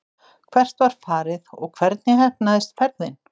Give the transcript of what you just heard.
Hvert var farið og hvernig heppnaðist ferðin?